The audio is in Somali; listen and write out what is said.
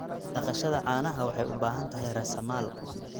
Dhaqashada caanaha waxay u baahan tahay raasamaal.